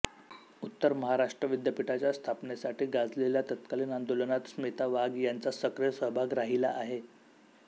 उत्तर महाराष्ट्र विद्यापीठाच्या स्थापनेसाठी गाजलेल्या तत्कालीन आंदोलनात स्मिता वाघ यांचा सक्रिय सहभाग राहिला आहे